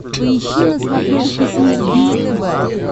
поищи на смотрешке синергия тв